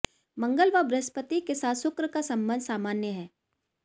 मंगल व बृहस्पति के साथ शुक्र का संबंध सामान्य है